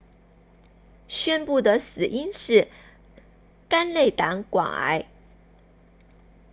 宣布的死因是肝内胆管癌